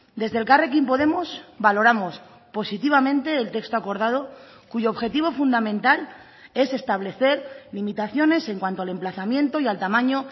desde elkarrekin podemos valoramos positivamente el texto acordado cuyo objetivo fundamental es establecer limitaciones en cuanto al emplazamiento y al tamaño